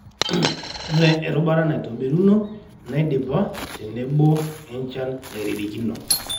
oree erubata naitobiruno naidipa , tenebo enchan nairirikino.